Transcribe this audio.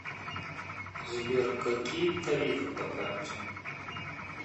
сбер какие тарифы по карте